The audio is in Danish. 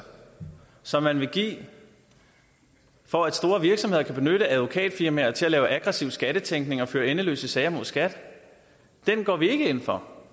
som man vil give for at store virksomheder kan benytte advokatfirmaer til at lave aggressiv skattetænkning og føre endeløse sager mod skat går vi ikke ind for